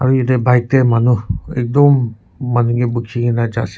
aro yete bike de manu ekdum manu ki buki kina ja ase.